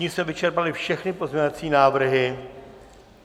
Tím jsme vyčerpali všechny pozměňovací návrhy.